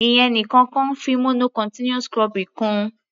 Ìyẹn nìkan kọ́, fi mono continuous cropping kún-un.